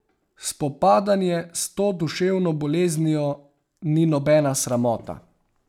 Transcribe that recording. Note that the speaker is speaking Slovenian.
Spopadanje s to duševno boleznijo ni nobena sramota.